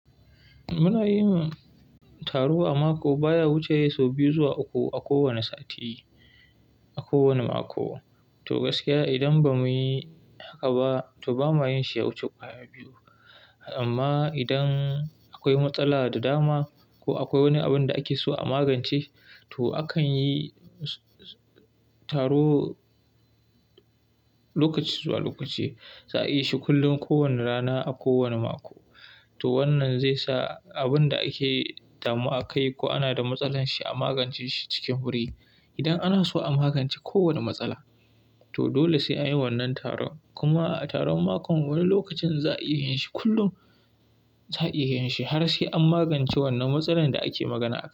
Muna yin taro a mako, baya wuce sau biyu zuwa uku a kowane sati, a kowane mako. To gaskiya idan ba mu yi haka ba, to ba ma yin shi ya wuce kwaya biyu. Amma idan akwai matsala da dama ko akwai wani abin da ake so a magance, to akan yi taro lokaci zuwa lokaci. Za a yi shi kullum kowane rana a kowane mako. To wannan zai sa abin da ake damuwa akai ko ana da matsalar shi a magance shi cikin wuri. Idan ana so a magance kowane matsala, to dole sai an yi wannan taron. Kuma a taron makon wani lokacin za a iya yin shi kullum, za a yin shi har sai an magance wannan matsalar da ake magana akai.